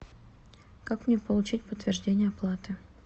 как мне получить подтверждение оплаты